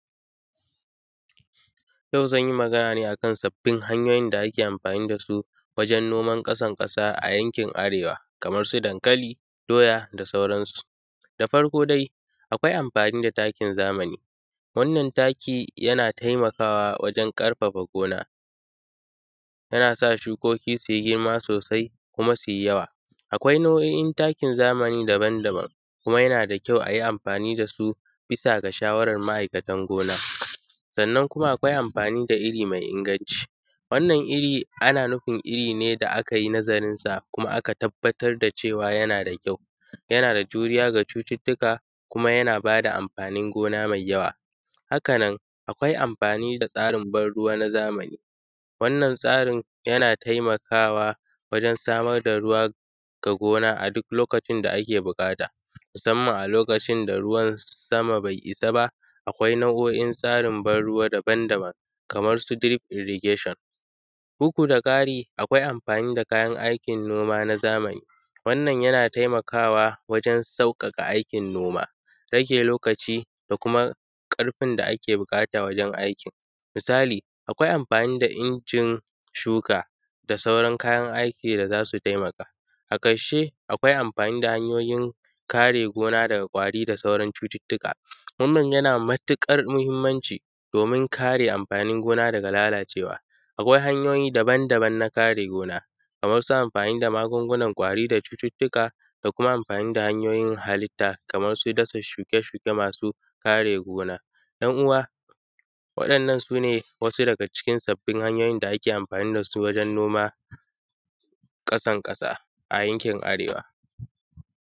Yau zan yi magana ne akan sabbin hanyoyin da ake amfani da su wajen noman ƙasan ƙasa a yankin arewa kaman su dankali, doya da sauransu. Da farko dai, akwai amfani da takin zamani, wannan takin yana taimakawa wajen ƙarfafa gona, yana sa shukoki su yi girma sosai kuma su yi yawa, akwai nau’oin takin zamani daban-daban kuma yana da kyau a yi amfani da su bisa ga shawarar ma’aikatan gona, sannan kuma akwai amfani da iri mai inganci, wannan iri ana nufin iri ne da aka yi nazarinsa kuma aka tabbatar da cewa yana da kyau, yana da juriya ga cututtuka kuma yana ba da amfanin gona mai yawa. Haka nan akwai amfani da tsarin ban ruwa na zamani, wannan tsarin yana taimakawa wajen samar da ruwa ga gona a duk lokacin da ake buƙata musamman a lokacin da ruwan sama bai isa ba. Akwai nau’oin tsarin ban ruwa daban-daban kaman su drip irrigation bugudaƙari akwai amfani da kayan aikin noma na zamani wannan yana taimakawa wajen sauƙaƙa aikin noma, rage lokaci da kuma ƙarfin da ake buƙata wajen aikin, misali akwai amfani da injin shuka da sauran kayan aiki da za su taimaka. A ƙarshe akwai amfani da hanyoyin kare gona daga kwari da sauran cututtuka wannan yana da matuƙar mahimmanci domin kare amfanin gona daga lalacewa. Akwai hanyoyi daban-daban na karewa gona kamansu amfani da magungunan kwari da cututtuka da kuma amfani da hanyoyin halitta kamar su gasa, shuke-shuke masu kare gona yan uwa waɗannan su ne wasu daga cikin sabbin hanyoyin da ake amfani da su wajen noma ƙasan ƙasa a yankin arewa.